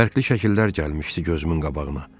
Fərqli şəkillər gəlmişdi gözümün qabağına.